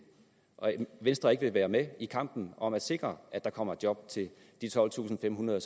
og venstre ikke vil være med i kampen om at sikre at der kommer job til de tolvtusinde og